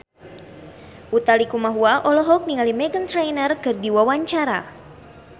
Utha Likumahua olohok ningali Meghan Trainor keur diwawancara